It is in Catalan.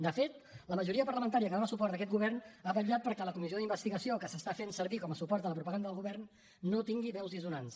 de fet la majoria parlamentària que dona suport a aquest govern ha vetllat perquè la comissió d’investigació que s’està fent servir com a suport a la propaganda del govern no tingui veus dissonants